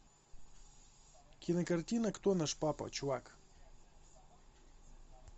кинокартина кто наш папа чувак